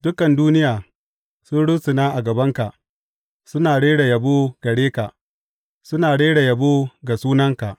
Dukan duniya sun rusuna a gabanka suna rera yabo gare ka, suna rera yabo ga sunanka.